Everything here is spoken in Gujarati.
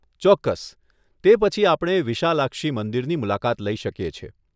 ચોક્કસ, તે પછી આપણે વિશાલાક્ષી મંદિરની મુલાકાત લઈ શકીએ છીએ.